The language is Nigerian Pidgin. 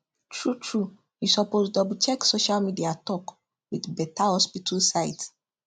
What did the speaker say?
true true you suppose doublecheck social media talk with beta hospital site